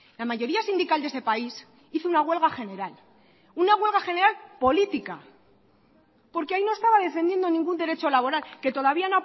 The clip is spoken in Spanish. la mayoría sindical de este país hizo una huelga general una huelga general política porque ahí no estaba defendiendo ningún derecho laboral que todavía